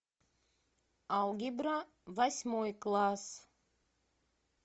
алгебра восьмой класс